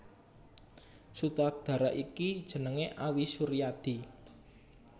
Sutradara iki jenengé Awi Suryadi